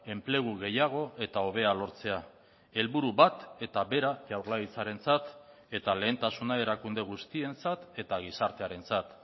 enplegu gehiago eta hobea lortzea helburu bat eta bera jaurlaritzarentzat eta lehentasuna erakunde guztientzat eta gizartearentzat